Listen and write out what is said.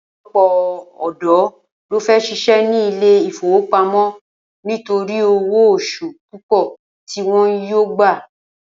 Ò̩pò̩lo̩pò̩ ò̩dó̩ ló fé̩ s̩is̩é̩ ní ilé ìfowópamó̩ nítorí owó os̩ù púpò̩ ti wo̩n yóò gbà